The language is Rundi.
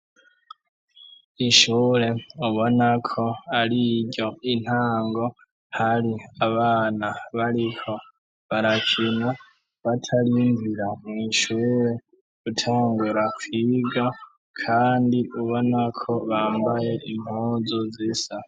Ishure ubonako ari iryo intango hari abana bariho barakina batarimvira mw'inshure gutangura kwiga, kandi ubonako bambaye intunzu zisa.